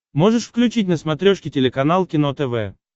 можешь включить на смотрешке телеканал кино тв